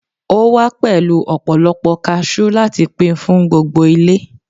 o wa pẹlu ọpọlọpọ cashew lati Pin fún gbogbo ile